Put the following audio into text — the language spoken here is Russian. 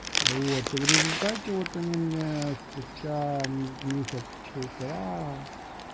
вот и в результате вот они мне спустя месяц полтора